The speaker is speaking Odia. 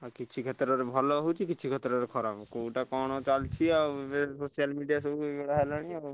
ଆଉ କିଛି କଥା ରେ ଭଲ ହଉଛି କିଛି କଥା ରେ ଖରାପ କୋଉଟା କଣ ଚାଲିଛି ଏବେ social media ହେଇଗଲାଣି ଆଉ।